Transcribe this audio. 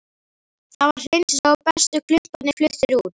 Það var hreinsað og bestu klumparnir fluttir út.